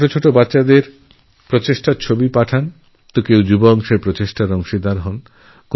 কেউ ছোটো ছোটো বাচ্চাদের নানান প্রচেষ্টার ছবিপাঠায় তো আবার কোথাও তরুণদের টিম এফোর্টের সাফল্যর কথা থাকে